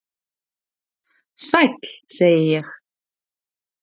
"""Sæll, segi ég."""